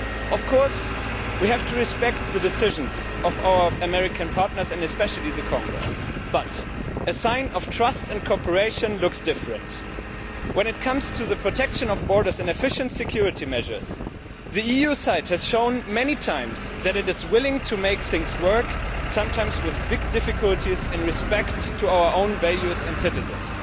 Of course we have to respect the decisions of our American partners, and especially the Congress, but this does not look like a sign of trust and cooperation. When it comes to the protection of borders and efficient security measures, the EU side has shown time and again that it is willing to make things work, sometimes with big difficulties in respect to our own values and citizens.